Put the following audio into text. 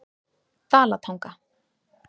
Dalatanga